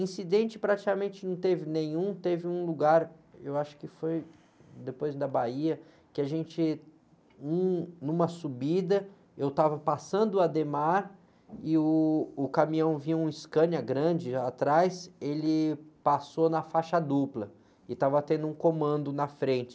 Incidente praticamente não teve nenhum, teve um lugar, eu acho que foi depois da Bahia, que a gente, um, numa subida, eu estava passando o e o caminhão vinha um Scania grande atrás, ele passou na faixa dupla e estava tendo um comando na frente.